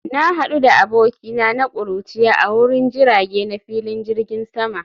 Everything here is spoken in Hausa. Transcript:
Na hadu da abokina na kuruciya a wurin jirage na filin jirgin sama